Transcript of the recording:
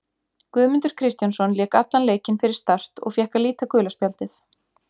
Guðmundur Kristjánsson lék allan leikinn fyrir Start og fékk að líta gula spjaldið.